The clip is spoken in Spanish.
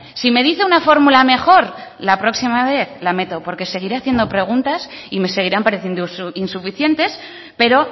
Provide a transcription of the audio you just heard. si me dice una fórmula mejor la próxima vez la meto porque seguiré haciendo preguntas y me seguirán pareciendo insuficientes pero